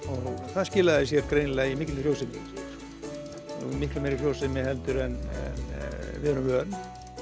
það skilaði sér greinilega í mikilli frjósemi miklu meiri frjósemi en við erum vön